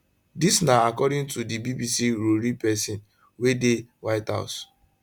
dis na according to di bbc rori pesin wey dey white house